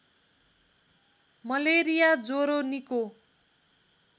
malaria ज्वरो निको